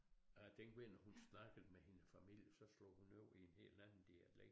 Og jeg tænkte virkelig når hun snakkede med hendes familie så slog hun over i en helt anden dialekt